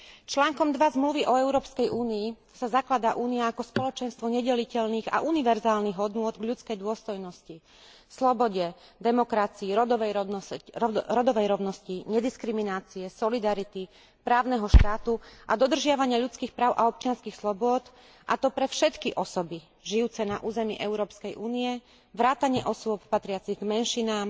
Článkom 2 Zmluvy o Európskej únii sa zakladá Únia ako spoločenstvo nedeliteľných a univerzálnych hodnôt v ľudskej dôstojnosti, slobode, demokracii, rodovej rovnosti, nediskriminácie, solidarity, právneho štátu a dodržiavania ľudských práv a občianskych slobôd, a to pre všetky osoby žijúce na území Európskej únie vrátane osôb patriacich k menšinám,